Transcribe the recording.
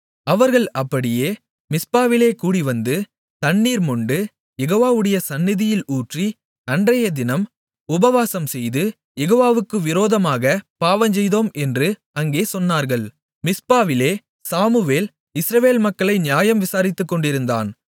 அவர்கள் அப்படியே மிஸ்பாவிலே கூடிவந்து தண்ணீர் மொண்டு யெகோவாவுடைய சந்நிதியில் ஊற்றி அன்றையதினம் உபவாசம்செய்து யெகோவாவுக்கு விரோதமாகப் பாவஞ்செய்தோம் என்று அங்கே சொன்னார்கள் மிஸ்பாவிலே சாமுவேல் இஸ்ரவேல் மக்களை நியாயம் விசாரித்துக்கொண்டிருந்தான்